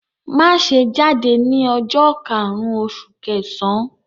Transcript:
Má ṣe jáde ní ọjọ́ karùn-ún oṣù kẹsàn-án!